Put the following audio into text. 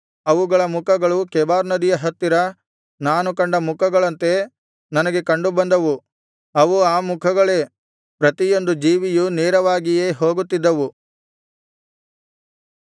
ಅವುಗಳ ಮುಖಗಳು ಕೆಬಾರ್ ನದಿಯ ಹತ್ತಿರ ನಾನು ಕಂಡ ಮುಖಗಳಂತೆ ನನಗೆ ಕಂಡುಬಂದವು ಅವು ಆ ಮುಖಗಳೇ ಪ್ರತಿಯೊಂದು ಜೀವಿಯು ನೇರವಾಗಿಯೇ ಹೋಗುತ್ತಿದ್ದವು